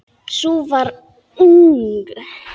Sú var ung!